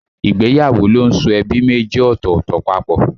Ìgbéyàwó ló ń so ẹbí méjì ọ̀tọ̀ọ̀tọ̀ papọ̀